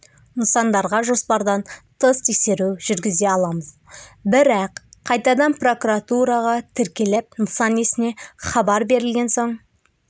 нысандарға жоспардан тыс тексеру жүргізе аламыз бірақ қайтадан прокуратураға тіркеліп нысан иесіне хабар берілген соң